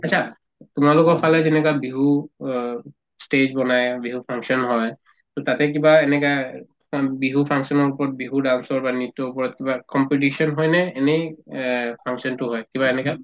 achcha তোমালোকৰ ফালে যেনেকুৱা বিহু অ stage বনাই বিহু function হয় to তাতে কিবা এনেকা বিহু function ৰ ওপৰত বিহু dance ৰ বা নৃত্যৰ ওপৰত কিবা competition হয় নে এনেই কিবা এয়া function তো হয় কিবা এনেকা